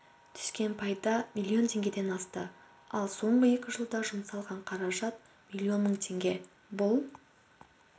түскен пайда миллион теңгеден асты ал соңғы екі жылда жұмсалған қаражат миллион мың теңге бұл